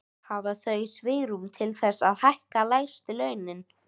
Hafa þau svigrúm til þess að hækka lægstu launin?